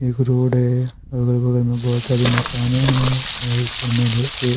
एक रोड है अगल-बगल में बहुत सारी मकानें हैंऔर ऊपर में एक---